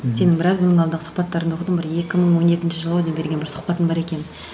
сенің біраз бұрын алдағы сұхбаттарыңды оқыдым бір екі мың он екінші жыл ау деймін берген бір сұхбатың бар екен